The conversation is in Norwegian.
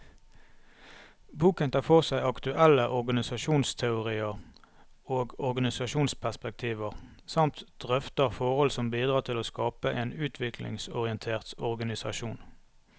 Boken tar for seg aktuelle organisasjonsteorier og organisasjonsperspektiver, samt drøfter forhold som bidrar til å skape en utviklingsorientert organisasjon.